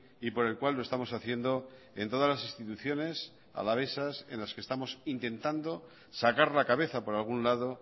y por el cual lo estamos haciendo en todas las instituciones alavesas en las que estamos intentando sacar la cabeza por algún lado